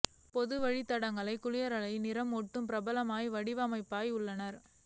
பொது வழிகாட்டுதல்களைப் குளியலறையில் நிறம் ஓடுகள் பிரபலமான வடிவமைப்பாளர்கள் உள்ளன